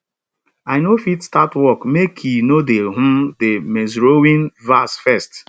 i no fit start work makei no dey um de maizerowing verse first